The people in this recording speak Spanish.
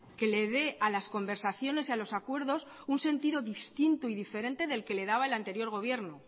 que le dé a las conversaciones y a los acuerdos un sentido distinto y diferente del que le daba el anterior gobierno